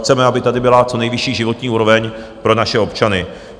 Chceme, aby tady byla co nejvyšší životní úroveň pro naše občany.